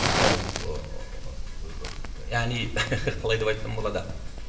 ол ыыы яғни қалай деп айтсам болады